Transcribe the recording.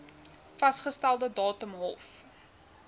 vasgestelde datum hof